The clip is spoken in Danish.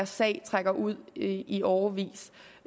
sag trækker ud i i årevis